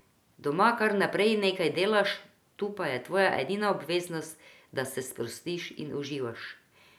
Doma kar naprej nekaj delaš, tu pa je tvoja edina obveznost, da se sprostiš in uživaš.